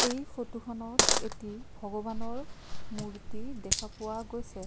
এই ফটোখনত এটি ভগবানৰ মূৰ্ত্তি দেখা পোৱা গৈছে।